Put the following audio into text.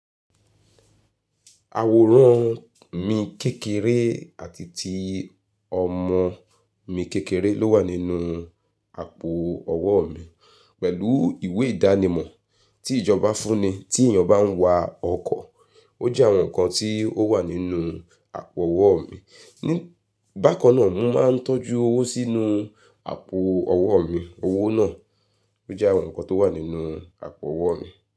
Àwòrán mi kékeré àti ti ọmọ mi kékeré ló wà nínú àpò ọwọ́ mi, pẹ̀lú ìwé ìdánimọ̀ tí ìjọba fún ni tí ènìyàn bá ń wa ọkọ̀, ó jẹ́ àwọn nǹkan tí ó wà nínú àpò ọwọ́ mi. Bákan náà, mo máa ń tọ́jú owó sínú àpò ọwọ́ mi, owó náà ó jẹ́ àwọn nǹkan tó wà nínú àpò ọwọ́ mi.